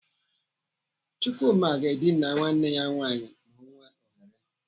Chukwuma ga-edina nwanne ya nwaanyị ma ọ nwete ohere.